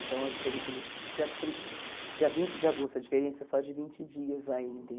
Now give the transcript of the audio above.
Então, a diferença de dia trin dia vinte de agosto, a diferença é só de vinte dias aí,